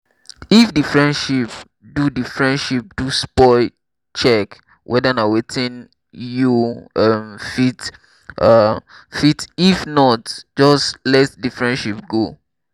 if di friendship do di friendship do spoil check weda na wetin you um fit um fit if not just let di friendship go um